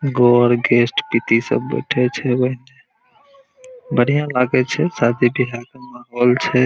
Guest पीती सब बैठे छै बढ़िया लगे छै शादी बिहा के माहौल छै।